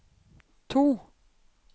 to